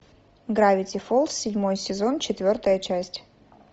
гравити фоллз седьмой сезон четвертая часть